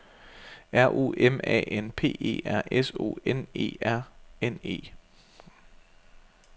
R O M A N P E R S O N E R N E